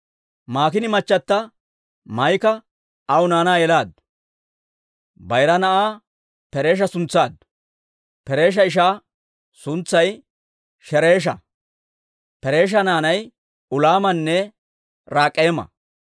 Maakiina machata Maa'ika aw naanaa yelaaddu. Bayira na'aa Peresha suntsaaddu; Peresha ishaa suntsay Shereesha. Peresha naanay Ulaamanne Rak'eema.